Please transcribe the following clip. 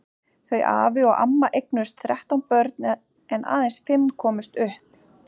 Þau afi og amma eignuðust þrettán börn en aðeins fimm komust upp.